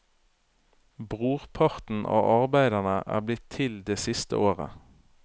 Brorparten av arbeidene er blitt til det siste året.